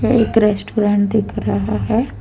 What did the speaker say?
यह एक रेस्टोरेंट दिख रहा है।